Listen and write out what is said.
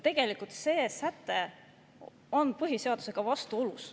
Tegelikult on see säte põhiseadusega vastuolus.